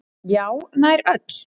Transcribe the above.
Já, nær öll.